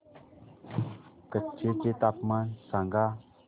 कच्छ चे तापमान सांगा